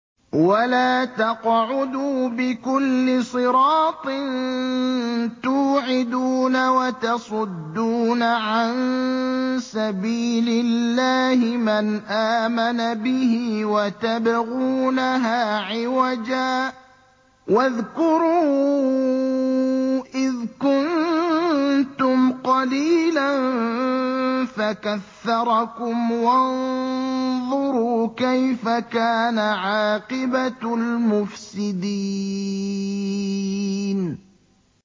وَلَا تَقْعُدُوا بِكُلِّ صِرَاطٍ تُوعِدُونَ وَتَصُدُّونَ عَن سَبِيلِ اللَّهِ مَنْ آمَنَ بِهِ وَتَبْغُونَهَا عِوَجًا ۚ وَاذْكُرُوا إِذْ كُنتُمْ قَلِيلًا فَكَثَّرَكُمْ ۖ وَانظُرُوا كَيْفَ كَانَ عَاقِبَةُ الْمُفْسِدِينَ